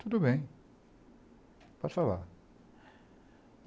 Tudo bem, pode falar.